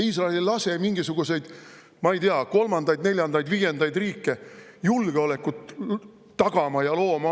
Iisrael ei lase mingisuguseid, ma ei tea, kolmandaid, neljandaid või viiendaid riike oma territooriumile julgeolekut tagama ja looma.